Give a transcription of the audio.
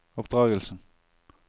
oppdragelsen